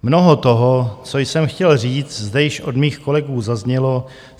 Mnoho toho, co jsem chtěl říct, zde již od mých kolegů zaznělo.